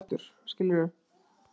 Þorið að segja NEI!